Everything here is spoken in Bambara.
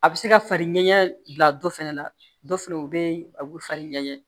A bɛ se ka fari ɲɛgɛn bila dɔ fɛnɛ na dɔ fɛnɛ bɛ a bɛ farin ɲɛ